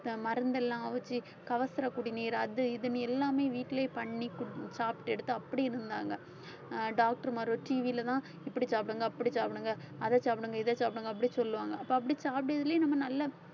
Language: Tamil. இந்த மருந்தெல்லாம் அவிச்சு கபசுரக் குடிநீர் அது இதுன்னு எல்லாமே வீட்டுலயே பண்ணி குடிச்~ சாப்பிட்டு எடுத்து அப்படி இருந்தாங்க ஆஹ் doctor மாருக TV லதான் இப்படி சாப்பிடுங்க அப்படி சாப்பிடுங்க அதை சாப்பிடுங்க இதை சாப்பிடுங்க அப்படி சொல்லுவாங்க அப்ப அப்படி சாப்பிடறதுலயே நம்ம